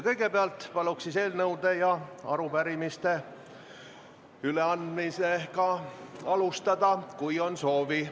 Kõigepealt paluks eelnõude ja arupärimiste üleandmisega alustada, kui on soovi.